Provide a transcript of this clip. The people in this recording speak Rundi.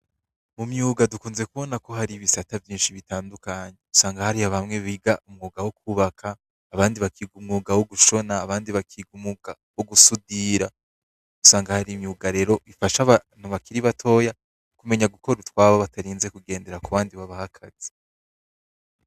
Mu myuga dunze ku bona ko hari ibisata vyishi bitandukanye usanga hari bamwe biga umwuga wo kubaka abandi bakiga umwuga wo gushona abandi bakiga umwuga wo gusudira usanga hari imyuga ifasha abakiri bato ku menya gukora utwabo batarinze kugendera ku bandi babaha akazi.